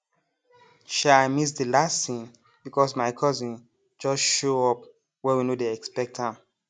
um i miss the last scene because my cousin just show up when we no dey expect am